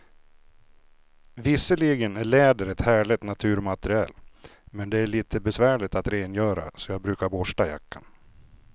Visserligen är läder ett härligt naturmaterial, men det är lite besvärligt att rengöra, så jag brukar borsta jackan.